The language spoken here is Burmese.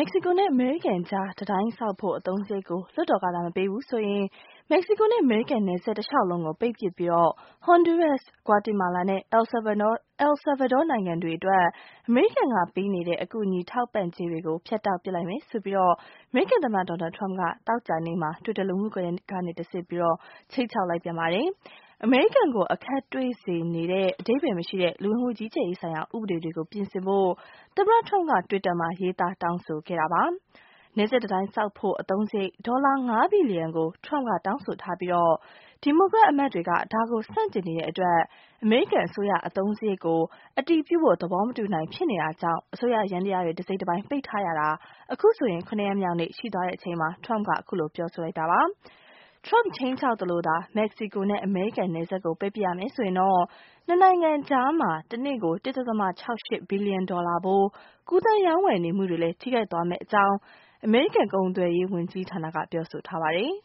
က္ကဆီကိုနဲ့ အမေရိကန်ကြား တံတိုင်းဆောက်ဖို့ အသုံးစရိတ်ကို လွှတ်တော်ကသာ မပေးဘူး ဆိုရင် မက္ကဆီကိုနဲ့ အမေရိကန်နယ်စပ်တလျှောက်လုံးကို ပိတ်ပစ်ပြီး Honduras, Guatemala နဲ့ El Salvador နိုင်ငံတွေအတွက် အမေရိကန်က ပေးနေတဲ့ အကူအညီထောက်ပံ့ကြေးတွေ ဖြတ်တောက်ပစ် လိုက်မယ်လို့ အမေရိကန်သမ္မတ Donald Trump က သောကြာနေ့မှာ Twitter လူမှုကွန်ယက်ကနေတဆင့် ခြိမ်းခြောက်လိုက်ပြန်ပါတယ်။ အမေရိကန်ကို အခက်တွေ့စေနေတဲ့ အသုံးမကျတဲ့ လူဝင်မှု ကြီးကြပ်ရေးဆိုင်ရာ ဥပဒေတွေကို ပြင်ဆင်ဖို့ Trump က Twitter မှာ ရေးသားတောင်းဆိုခဲ့တာပါ။ နယ်စပ်တံတိုင်းဆောက်ဖို့ အသုံးစရိတ် ဒေါ်လာ ၅ ဘီလျံကို Trump က တောင်းဆိုထားပြီး ဒီမိုကရက်အမတ်တွေက ဒါကို ဆန့်ကျင်နေတဲ့အတွက် အမေရိကန် အစိုးရ အသုံးစရိတ်ကို မခွဲနိုင် ဖြစ်နေတာကြောင့် အစိုးရယန္တရားတွေ တစိတ်တပိုင်း ပိတ်ထားရတာ အခုဆိုရင် ၇ ရက်မြောက်နေ့ ရှိသွားတဲ့အချိန်မှာ Trump က အခုလို ပြောဆိုလိုက်တာပါ။ Trump ခြိမ်းခြောက်သလိုသာ မက္ကဆီကိုနဲ့ အမေရိကန်နယ်စပ်ကို ပိတ်ပစ်ရမယ်ဆိုရင် ၂ နိုင်ငံကြားက တနေ့ကို ၁.၆၈ ဘီလျံ ဒေါ်လာဖိုး ကူးသန်းရောင်းဝယ်နေမှုတွေလည်း ထိခိုက်သွားမယ့်အကြောင့် အမေရိကန်ကုန်သွယ်ရေးဝန်ကြီးဌာနက ပြောဆိုထားပါတယ်